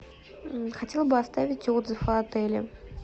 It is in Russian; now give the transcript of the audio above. хотела бы оставить отзыв о отеле